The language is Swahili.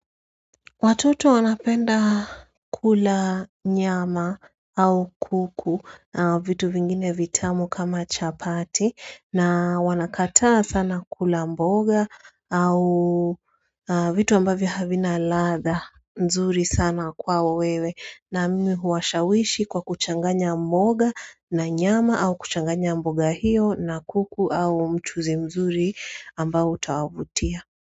Watoto wanapenda kula nyama au kuku vitu vingine vitamu kama chapati na wanakataa sana kula mboga au vitu ambavyo havina latha nzuri sana kwao wewe na mimi huwashawishi kwa kuchanganya mboga na nyama au kuchanganya mboga hiyo na kuku au mchuzi mzuri ambao utawavutia.